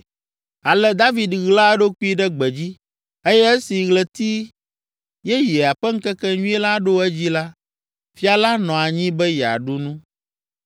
Ale David ɣla eɖokui ɖe gbedzi eye esi ɣleti yeyea ƒe ŋkekenyui la ɖo edzi la, fia la nɔ anyi be yeaɖu nu.